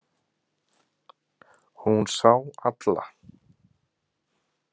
Hún sá alla.